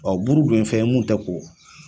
buru dun ye fɛn ye mun tɛ ko